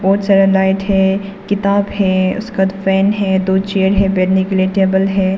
बहुत सारा लाइट है किताब है उसका पेन है दो चेयर है बैठने के लिए टेबल है।